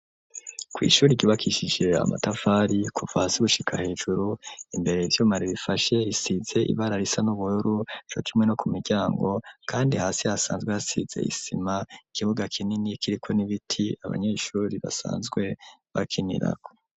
kw'ishuri ryubakishije amatavari kuva hasi gushika hejuru imbere ivyuma bihafashe risize ibara risa n'ubururu co kimwe no ku miryango kandi hasi hasanzwe hasize isima ikibuga kinini kiriko n'ibiti abanyeshuri basanzwe bakinirako.